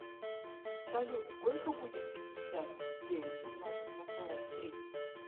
салют сколько будет пятьдесят девять умножить на сорок три